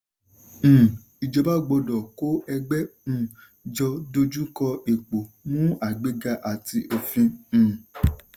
um ìjọba gbọ́dọ̀ kó ẹgbẹ́ um jọ dojú kọ epo mú àgbéga àti òfin. um